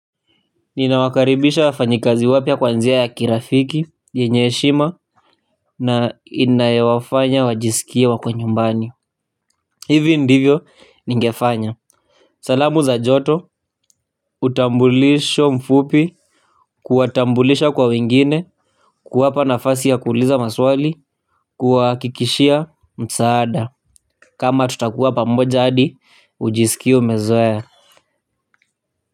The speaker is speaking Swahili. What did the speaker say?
Ninawakaribisha wafanyikazi wapya kwanjia ya kirafiki, yenye heshima na inayo wafanya wajisikie wako nyumbani hivi ndivyo ningefanya salamu za joto utambulisho mfupi kuwatambulisha kwa wengine, kuwapa nafasi ya kuuliza maswali kuwakikishia msaada kama tutakuwa pamoja hadi ujisikie umezoea.